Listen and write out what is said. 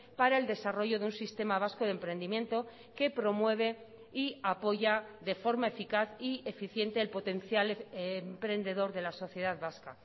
para el desarrollo de un sistema vasco de emprendimiento que promueve y apoya de forma eficaz y eficiente el potencial emprendedor de la sociedad vasca